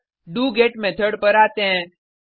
अब डोगेट मेथड पर आते हैं